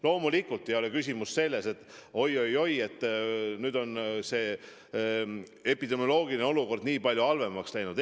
Loomulikult ei ole küsimus selles, et oi-oi-oi, nüüd on epidemioloogiline olukord nii palju halvemaks läinud.